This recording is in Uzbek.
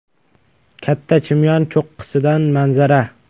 Katta Chimyon cho‘qqisidan manzara.